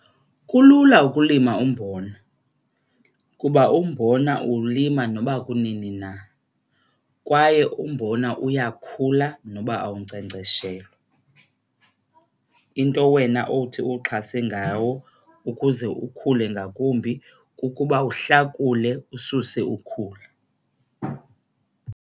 Kulula ukulima umbona kuba umbona uwulima noba kunini na kwaye umbona uyakhula noba awunkcenkceshelwa. Into wena owuthi uwuxhase ngawo ukuze ukhule ngakumbi kukuba uhlakule ususe ukhula.